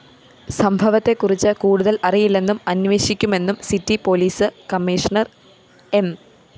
സംഭവത്തെക്കുറിച്ച് കൂടുതല്‍ അറിയില്ലെന്നും അന്വേഷിക്കുമെന്നും സിറ്റി പോലീസ് കമ്മീഷണർ എം